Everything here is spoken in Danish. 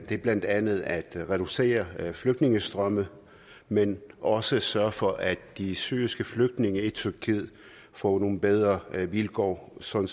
det er blandt andet at reducere flygtningestrømme men også sørge for at de syriske flygtninge i tyrkiet får nogle bedre vilkår sådan